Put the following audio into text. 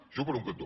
això per un cantó